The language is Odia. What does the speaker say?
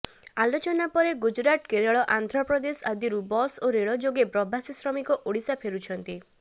ଆଲୋଚନା ପରେ ଗୁଜୁରାଟ କେରଳ ଆନ୍ଧ୍ରପ୍ରଦେଶ ଆଦିରୁ ବସ୍ ଓ ରେଳ ଯୋଗେ ପ୍ରବାସୀ ଶ୍ରମିକ ଓଡିଶା ଫେରୁଛନ୍ତି